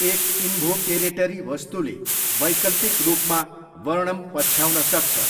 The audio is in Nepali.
एक इन्भोकेरेटरी वस्तुले वैकल्पिक रूपमा वर्णम पछ्याउन सक्छ।